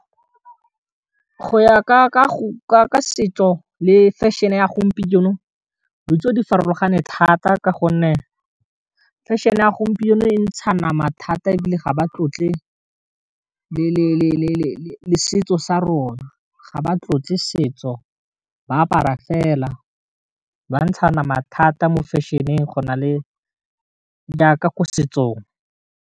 Go ya ka go ka setso le fashion-e ya gompieno ditso di farologane thata ka gonne fashion-e ya gompieno e ntsha nama thata e bile ga ba tlotle le setso sa rona, ga ba tlotle setso ba apara fela bantsha nama thata mo fashion-eng go na le jaaka ko setsong.